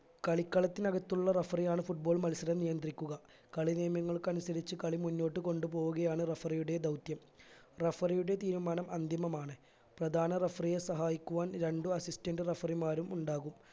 കളിക്കളത്തിനകത്തുള്ള referee യാണ് football മത്സരം നിയന്ത്രിക്കുക കളി നിയമങ്ങൾക്കനുസരിച്ച് കളി മുന്നോട്ട് കൊണ്ടുപോവുകയാണ് referee യുടെ ദൗത്യം referee യുടെ തീരുമാനം അന്തിമമാണ് പ്രധാന referee യെ സഹായിക്കുവാൻ രണ്ടു assistant referee മാരും ഉണ്ടാകും